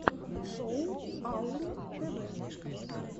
шоу аурум тв